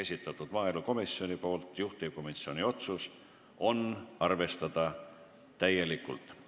Kõik on maaelukomisjoni esitatud ja juhtivkomisjoni otsus on arvestada neid täielikult.